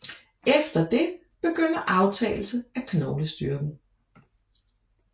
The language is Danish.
Efter det begynder aftagelse af knoglestyrken